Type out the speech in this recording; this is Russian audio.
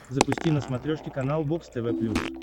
запусти на смотрешке канал бокс тв плюс